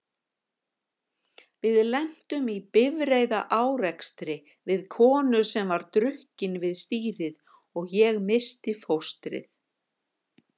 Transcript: Við lentum í bifreiðaárekstri við konu sem var drukkin við stýrið og ég missti fóstrið.